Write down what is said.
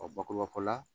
bakuruba fɔla